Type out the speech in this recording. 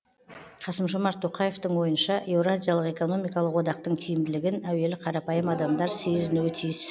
қасым жомарт тоқаевтың ойынша еуразиялық экономикалық одақтың тиімділігін әуелі қарапайым адамдар сезінуі тиіс